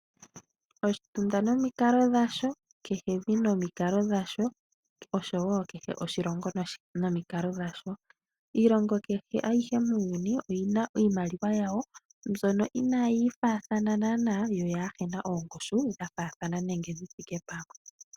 Oshitunda nomikalo dhasho, kehe evi nomikalo dhasho. Iilongo kehe ayihe muuyuni oyi na iimaliwa yawo mbyono inaayi faathana yo kayi na ongushu ya faathana nenge yi thike pamwe.